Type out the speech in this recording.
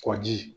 Kɔji